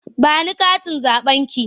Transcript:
Ba ni katin zaɓenki!